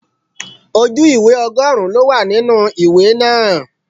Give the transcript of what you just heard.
Ojú ìwé ọgọrun ló wà nínú ìwé náà.